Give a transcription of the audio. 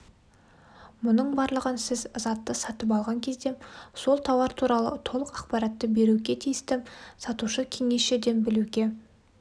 мұның барлығын сіз затты сатып алған кезде сол тауар туралы толық ақпаратты беруге тиісті сатушы-кеңесшіден білуге